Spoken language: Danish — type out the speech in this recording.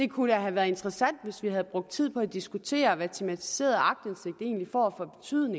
kunne være have været interessant hvis vi havde brugt tid på at diskutere hvad tematiseret aktindsigt egentlig får